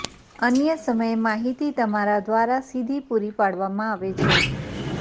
અન્ય સમયે માહિતી તમારા દ્વારા સીધી પૂરી પાડવામાં આવે છે